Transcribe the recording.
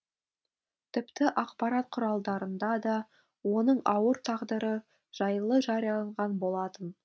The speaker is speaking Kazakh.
тіпті ақпарат құралдарында да оның ауыр тағдыры жайлы жарияланған болатын